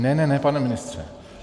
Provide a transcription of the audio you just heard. Ne, ne, ne, pane ministře.